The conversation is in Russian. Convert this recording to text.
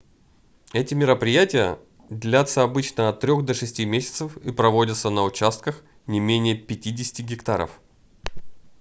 эти мероприятия длятся обычно от трёх до шести месяцев и проводятся на участках не менее 50-ти гектаров